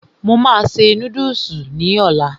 Mo máa se núdùsì ní ọlá